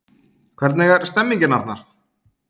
Hvernig er stemningin Arnar?